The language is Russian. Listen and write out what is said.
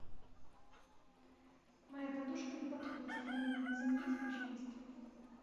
моя подушка не подходит для меня замените пожалуйста